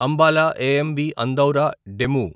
Ambala AMB Andaura DEMU